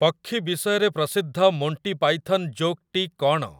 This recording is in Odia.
ପକ୍ଷୀ ବିଷୟରେ ପ୍ରସିଦ୍ଧ ମୋଣ୍ଟି ପାଇଥନ୍ ଜୋକ୍‌ଟି କ'ଣ?